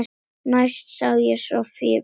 Næst sá ég Soffíu Björgu.